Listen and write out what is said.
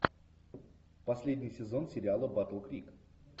последний сезон сериала батл крик